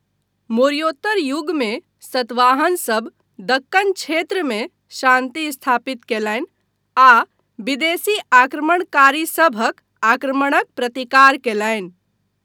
मौर्योत्तर युगमे सतवाहनसभ दक्कन क्षेत्रमे शान्ति स्थापित कयलनि आ विदेशी आक्रमणकारीसभक आक्रमणक प्रतिकार कयलनि।